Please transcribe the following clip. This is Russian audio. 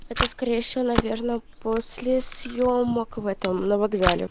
это скорее всего наверное после съёмок в этом на вокзале